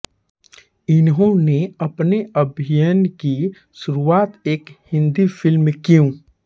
इन्होंने अपने अभिनय की शुरुआत एक हिन्दी फिल्म क्यूँ